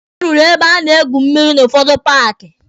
A rụrụ ebe a na-egwu mmịrị n'ụfọdụ paaki.